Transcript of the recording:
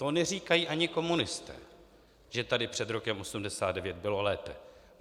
To neříkají ani komunisté, že tady před rokem 1989 bylo lépe.